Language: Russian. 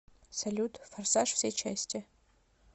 салют форсаж все части